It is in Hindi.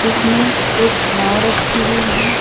इसमें एक नाव रखी हुई है।